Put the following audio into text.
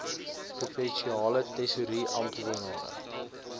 provinsiale tesourie amptenare